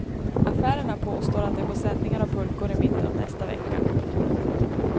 Affärerna påstår att de får sändningar av pulkor i mitten av nästa vecka.